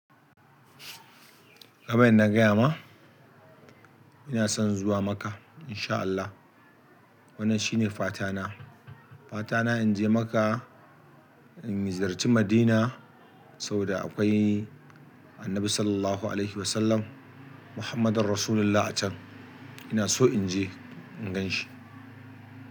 Kaman na gaya ma, ina son zuwa Makkah in sha Allah. Wannan shine fatana. Fatana in je Makkah, in ziyarci Madina saboda akwai Annabi Sallallahu Alaihi Wasallam Muhammadan Rasulullah a can. Ina so in je in gan shi.